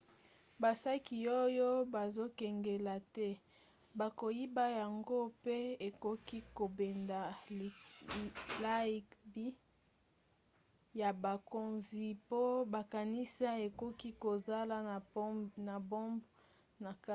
basaki oyo bazokengela te bakoyiba yango mpe ekoki kobenda likebi ya bakonzi mpo bakanisa ekoki kozala na bombe na kati